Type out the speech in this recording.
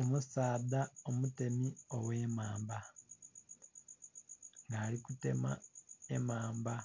omusaadha omutemi oghemamba, alikutema emamba,